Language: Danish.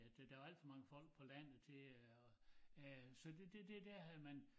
Ja det der var alt for mange folk på landet til at øh så det det dér havde man